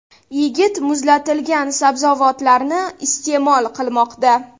Yigit muzlatilgan sabzavotlarni iste’mol qilmoqda”.